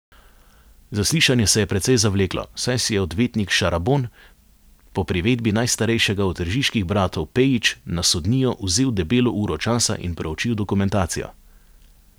Zaslišanje se je precej zavleklo, saj si je odvetnik Šarabon po privedbi najstarejšega od tržiških bratov Pejić na sodnijo vzel debelo uro časa in proučil dokumentacijo.